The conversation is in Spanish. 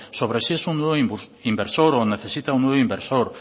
sobre si es un nuevo inversor o necesita un nuevo inversor